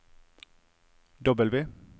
W